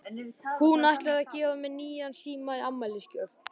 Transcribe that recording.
Hún ætlar að gefa mér nýjan síma í afmælisgjöf.